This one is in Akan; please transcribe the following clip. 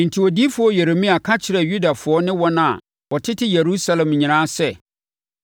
Enti odiyifoɔ Yeremia ka kyerɛɛ Yudafoɔ ne wɔn a wɔtete Yerusalem nyinaa sɛ,